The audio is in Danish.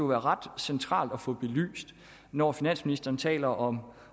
være ret centralt at få belyst når finansministeren taler om